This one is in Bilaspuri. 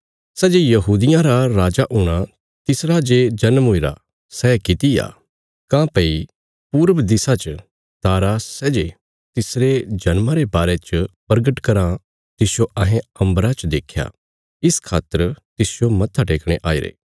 सै जे यहूदियां रा राजा हूणा तिसरा जे जन्म हुईरा सै किति आ काँह्भई पूर्व दिशा च तारा सै जे तिसरे जन्मा रे बारे च परगट कराँ तिसजो अहें अम्बरा च देख्या इस खातर तिसजो मत्था टेकणे आईरे